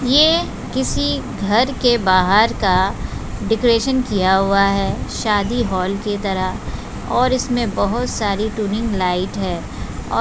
ये किसी घर के बाहर का डेकोरेशन किया हुआ है शादी हॉल की तरह और इसमें बहुत सारी ट्यूनइंग लाइट हैं।